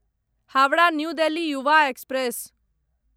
Howrah new Delhi Yuva express